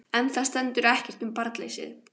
En þar stendur ekkert um barnleysið.